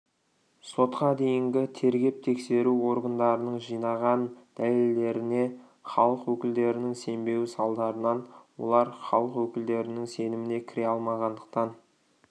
сотқа дейінгі тергеп-тексеру органдарының жинаған дәлелдеріне халық өкілдерінің сенбеуі салдарынан олар халық өкілдерінің сеніміне кіре алмағандықтан